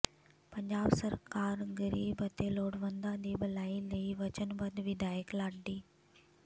ਪੰਜਾਬ ਸਰਕਾਰ ਗਰੀਬ ਅਤੇ ਲੋੜਵੰਦਾਂ ਦੀ ਭਲਾਈ ਲਈ ਵਚਨਬੱਧ ਵਿਧਾਇਕ ਲਾਡੀ